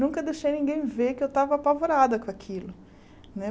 Nunca deixei ninguém ver que eu estava apavorada com aquilo. Né